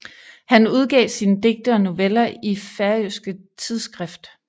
Han udgav sine digte og noveller i færøske tidsskrift